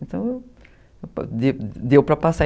Então, deu para passar.